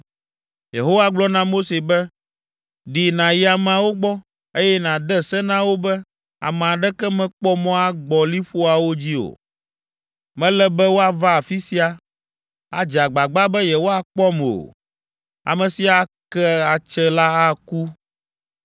Yehowa gblɔ na Mose be, “Ɖi nàyi ameawo gbɔ, eye nàde se na wo be ame aɖeke mekpɔ mɔ agbɔ liƒoawo dzi o. Mele be woava afi sia, adze agbagba be yewoakpɔm o. Ame si ake atse la aku.